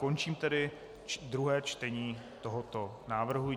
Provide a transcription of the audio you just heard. Končím tedy druhé čtení tohoto návrhu.